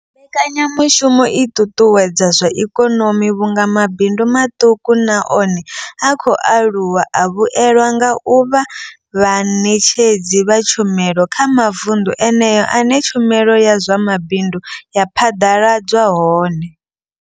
Mbekanyamushumo i ṱuṱuwedza zwa ikonomi vhunga mabindu maṱuku na one a khou aluwa a vhuelwa nga u vha vhaṋetshedzi vha tshumelo kha mavunḓu eneyo ane tshumelo ya zwa mabindu ya phaḓaladzwa hone.